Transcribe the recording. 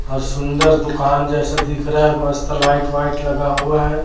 और सुन्दर दुकान जैसा दिख रहा है मस्त लाइट वाइट लगा हुआ है।